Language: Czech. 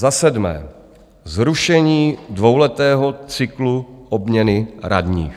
Za sedmé - zrušení dvouletého cyklu obměny radních.